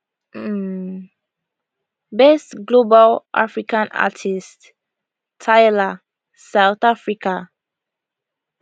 um best global african artist tyla south africa